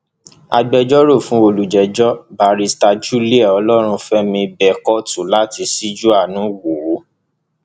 agbẹjọrò fún olùjẹjọ bàrìsítà julie olórùnfèmi bẹ kóòtù láti ṣíjú àánú wò ó